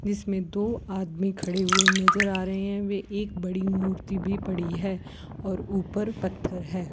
इसमें दो आदमी खड़े हुए नजर आ रहे हैं वे एक बड़ी मूर्ती भी पड़ी है और ऊपर पत्थर है।